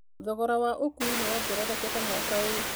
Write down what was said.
Thogora wa ũkuui nĩ wongererekete mwaka ũyũ.